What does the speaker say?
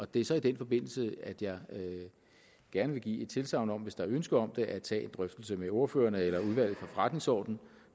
det er så i den forbindelse jeg gerne vil give et tilsagn om hvis der er ønske om det at tage en drøftelse med ordførerne eller udvalget for forretningsordenen